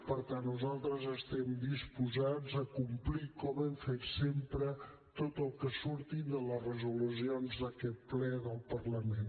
per tant nosaltres estem disposats a complir com hem fet sempre tot el que surti de les resolucions d’aquest ple del parlament